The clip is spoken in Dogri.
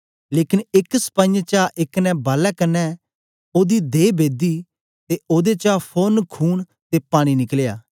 लेकन एक सपाईयें चा एक ने भालै कन्ने ओदी दहे बेदी ते ओदे चा फोरन खून ते पानी निकलया